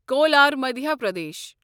cooler Madhya Pradesh